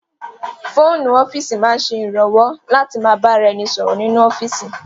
Fóònù ọ́fíìsì máa ń ṣe ìrànwọ́ láti ma bá ra ẹni sọ̀rọ̀ nínú ọ́fíìsì